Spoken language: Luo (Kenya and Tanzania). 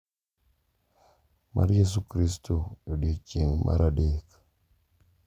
mar Yesu Kristo e odiechieng’ mar adek.